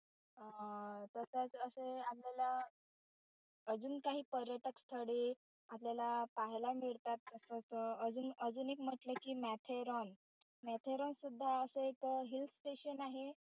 अं तसेच असेच अजून काही पर्यटक स्थळे आपल्याला पाहायला मिळतात तसच अजून एक म्हटलं कि माथेरान माथेरान अजून सुद्धा एक hill station आहे.